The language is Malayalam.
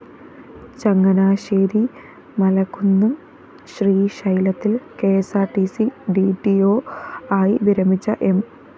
ചങ്ങനാശ്ശേരി മലകുന്നം ശ്രീശൈലത്തില്‍ K S R T C D T O ആയി വിരമിച്ച എം